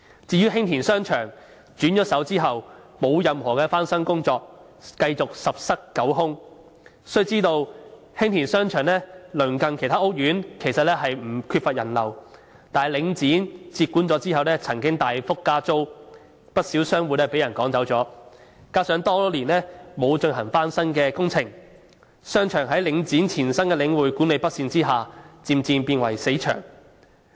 至於興田商場轉手後，沒有進行任何翻新工作，繼續十室九空。須知道，興田商場鄰近其他屋苑，本來並不缺乏人流，但領展接管後曾經大幅加租，不少商戶被趕走；加上多年來不曾進行翻新工程，商場在領展前身的領匯管理不善之下，漸漸變為"死場"。